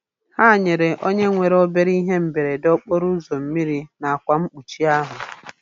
Ha nyere onye nwere obere ihe mberede okporoụzọ mmiri na akwa mkpuchi ahụ.